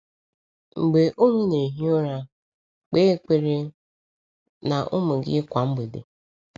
“Mgbe unu na-ehi ụra”: Kpe ekpere na ụmụ gị kwa mgbede.